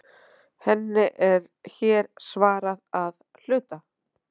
Henni er hér svarað að hluta.